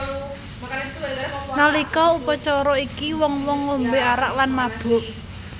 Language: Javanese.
Nalika upacara iki wong wong ngombe arak lan mabuk